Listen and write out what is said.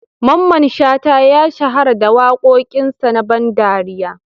Mamman Shata ya shahara da wakokin sa na ban ɗariya.